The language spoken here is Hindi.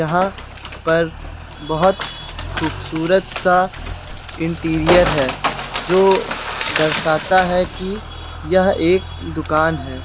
यहां पर बहोत खूबसूरत सा इंटीरियर है जो दर्शाता है कि यह एक दुकान है।